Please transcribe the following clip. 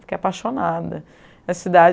Fiquei apaixonada. A cidade